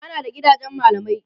ana da gidajen mallamai